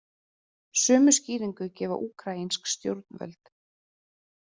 Sömu skýringu gefa úkraínsk stjórnvöld